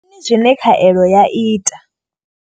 Ndi mini zwine khaelo ya ita.